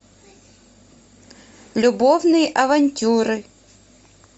любовные авантюры